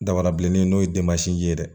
Dabarabilennin n'o ye ye dɛ